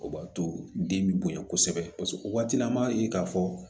O b'a to den bɛ bonya kosɛbɛ paseke o waati an b'a ye k'a fɔ